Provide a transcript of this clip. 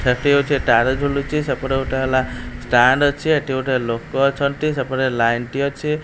ସେଠି ହଉଚି ତାର ଝୁଲୁଚି ସେପଟେ ଗୋଟେ ହେଲା ଷ୍ଟାଣ୍ଡ ଅଛି ଏଠିଗୋଟେ ଲୋକ ଅଛନ୍ତି ସେପଟେ ଲାଇନ ଟି ଅଛି।